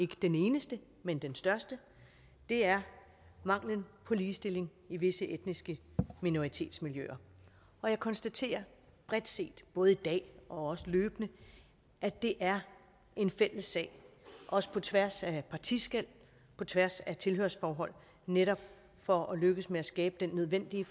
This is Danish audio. den eneste men den største er manglen på ligestilling i visse etniske minoritetsmiljøer og jeg konstaterer bredt set både i dag og også løbende at det er en fælles sag også på tværs af partiskel på tværs af tilhørsforhold netop for at lykkes med at skabe den nødvendige